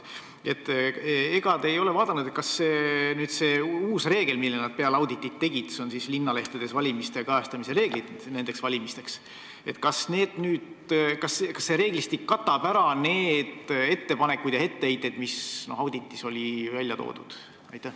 Ega te ei ole vaadanud, kas see reeglistik, mille nad peale auditit kehtestasid – pean silmas linnalehtedes valimiste kajastamise reegeid –, arvestab neid ettepanekuid ja etteheiteid, mis auditis välja toodi?